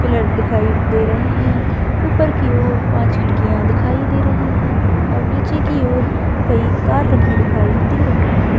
Pillar दिखाई दे रहे हैं ऊपर की ओर पांच खिड़कियां दिखाई दे रही है और नीचे की ओर कई कार रखी हुई दिखाई दे रही है।